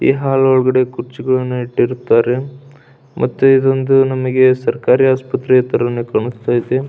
ಈ ಹಾಲ್ ಒಳಗಡೆ ಖುರ್ಚುಯನ್ನು ಇತ್ತಿರುತ್ತ್ತಾರೆ ಮತ್ತೆ ಇದೊಂದು ನನಗ್ ಸರಕಾರಿ ಆಸ್ಪತ್ರೆ ತರಾನೇ ಕಾಣಿಸ್ತಾಯಿತೇ.